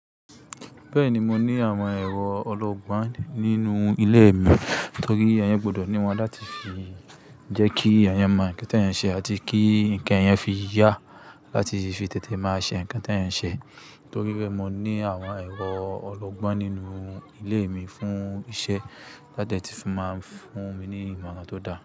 Bẹ́ẹ̀ni, mo ní àwọn ẹ̀rọ ọlọ́gbọ́n nínú ilé mi torí a yán gbọdọ̀ ní wọ́n láti fi jẹ́ kí a yàn mọ̀ nǹkan tí a yàn ṣe àti kí nǹkan a yàn fi yá, láti fi tètè mọ àṣẹ nǹkan tí a yàn ṣe. Torí bẹ́ẹ̀, mo ní àwọn ẹ̀rọ ọlọ́gbọ́n nínú ilé mi fún isẹ́ láde ti fi máa ń fún mi ní ìmọ̀ọ́ran tó dáa.